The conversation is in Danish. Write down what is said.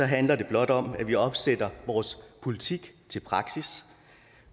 handler det blot om at vi omsætter vores politik til praksis